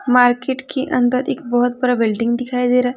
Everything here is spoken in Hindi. मार्केट के अंदर एक बहुत बड़ा बिल्डिंग दिखाई दे रहा है।